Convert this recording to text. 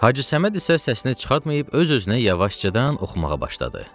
Hacı Səməd isə səsini çıxartmayıb, öz-özünə yavaşcadan oxumağa başladı.